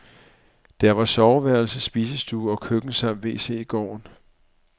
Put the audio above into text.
Der var soveværelse, spisestue og køkken samt wc i gården.